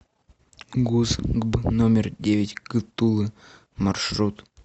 гуз гб номер девять г тулы маршрут